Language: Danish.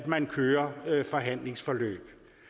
man kører forhandlingsforløb